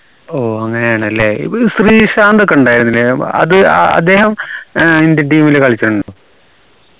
ഓ അങ്ങനെയാണല്ലേ ഇതിൽ ശ്രീ ശാന്തോകെ ഉണ്ടായിരുന്നില്ലേ ഏർ അത് അ അദ്ദേഹം ഏർ indian team ൽ കളിക്കുന്നുണ്ടോ